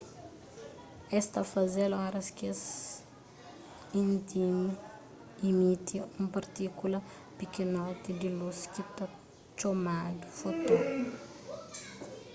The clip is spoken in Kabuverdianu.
es ta faze-l oras k-es imiti un partíkula pikinotinhu di lus ki ta txomadu foton